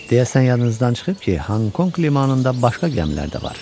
Deyəsən yadınızdan çıxıb ki, Honkonq limanında başqa gəmilər də var.